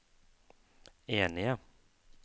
enige